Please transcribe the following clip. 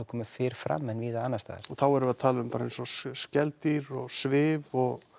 komið fyrr fram en víða annars staðar og þá erum við að tala um bara eins og skeldýr og svif og